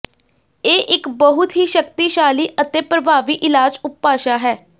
ਇਹ ਇੱਕ ਬਹੁਤ ਹੀ ਸ਼ਕਤੀਸ਼ਾਲੀ ਅਤੇ ਪ੍ਰਭਾਵੀ ਇਲਾਜ ਉਪਭਾਸ਼ਾ ਹੈ